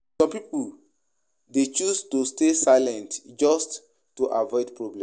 Some pipo dey choose to stay silent just to avoid problem.